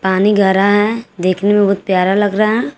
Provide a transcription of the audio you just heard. पानी गहरा है देखने में बहुत प्यारा लग रहा है।